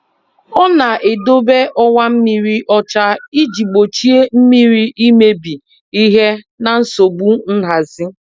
Ọ na-edobe ọwa mmiri ọcha iji gbochie mmiri imebi ihe na nsogbu nhazi.